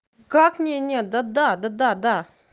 как мне нет да да да да да